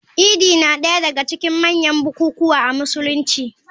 Idi na daya daga cikin manyan bukukuwa a Musulunci.